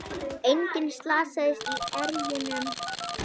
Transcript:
Enginn slasaðist í erjunum